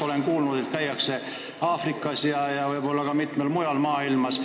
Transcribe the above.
Olen kuulnud, et käiakse Aafrikas ja võib-olla ka mitmel pool mujal maailmas.